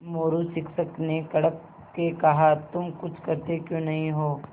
मोरू शिक्षक ने कड़क के कहा तुम कुछ करते क्यों नहीं हो